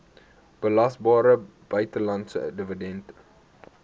belasbare buitelandse dividend